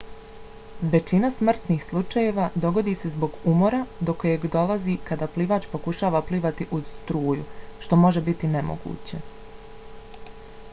većina smrtnih slučajeva dogodi se zbog umora do kojeg dolazi kada plivač pokušava plivati uz struju što može biti nemoguće